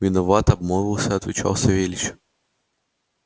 виноват обмолвился отвечал савельич